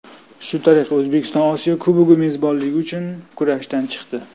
Shu tariqa O‘zbekiston Osiyo Kubogi mezbonligi uchun kurashdan chiqdi.